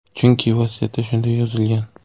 Chunki vasiyatda shunday yozilgan.